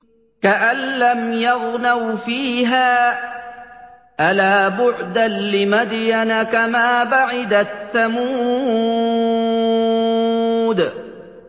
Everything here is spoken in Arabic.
كَأَن لَّمْ يَغْنَوْا فِيهَا ۗ أَلَا بُعْدًا لِّمَدْيَنَ كَمَا بَعِدَتْ ثَمُودُ